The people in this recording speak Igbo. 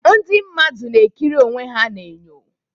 Ndị mmadụ na-ekiri onwe ha n'enyo.